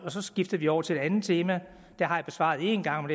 så skifter vi over til et andet tema det spørgsmål har jeg besvaret en gang